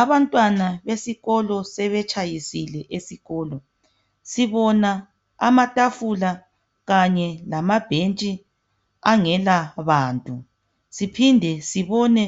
Abantwana besikolo sebetshayisile esikolo. Sibona amatafula kanye lamabhentshi angelabantu, siphinde sibone